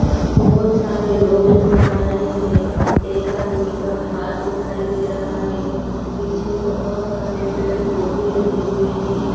बहुत सारे लोग नजर आ रहे हैं एक आदमी का हाथ दिखाई दे रहा है पीछे बहुत सारे पेड़-पौधे लगे हुए हैं।